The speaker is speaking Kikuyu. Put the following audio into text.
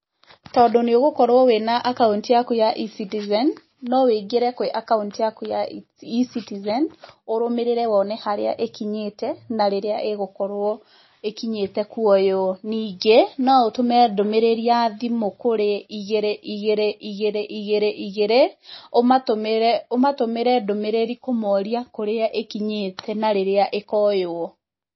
Tondũ nĩ ũgũkorwo wĩ na akaunti yaku ya eCitizen, no wĩingĩre kwĩ akaunti yaku ya eCitizen, ũrumĩrĩre wone harĩa ĩkinyĩte, na rĩrĩa ĩgũkorwo ĩkinyĩte kuoywo. Ningĩ no ũtũme ndũmĩrĩri ya thimũ kũrĩ, igĩrĩ igĩrĩ igĩrĩ igĩrĩ igĩrĩ, ũmatũmĩre ndũmĩrĩri kũmoria kũrĩa ĩkinyĩte na rĩrĩa ĩkoywo.